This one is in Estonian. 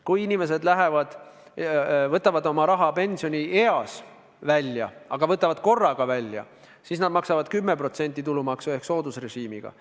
Kui inimesed võtavad oma raha pensionieas korraga välja, siis nad maksavad 10% tulumaksu ehk soodusrežiimi kohaselt.